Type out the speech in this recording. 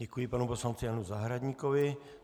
Děkuji panu poslanci Janu Zahradníkovi.